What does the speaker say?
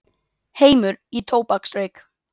Heimur í tóbaksreyk.